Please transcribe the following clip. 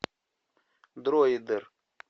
дроидер